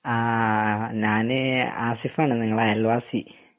ആഹ് ഞാന് ആസിഫാണ് നിങ്ങടെ അയൽവാസി